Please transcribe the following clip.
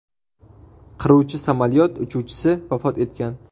Qiruvchi samolyot uchuvchisi vafot etgan.